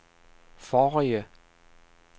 forrige